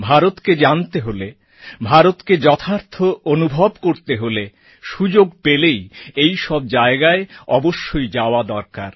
ভারতকে জানতে হলে ভারতকে যথার্থ অনুভব করতে হলে সুযোগ পেলেই এই সব জায়গায় অবশ্যই যাওয়া দরকার